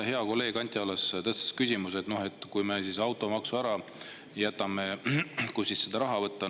Hea kolleeg Anti Allas tõstatas siin küsimuse, et kui me automaksu ära jätame, kust siis seda raha võtta.